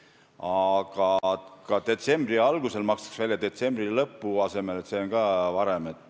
Aga nüüd makstakse detsembri alguses detsembri lõpu asemel, seega ikkagi varem.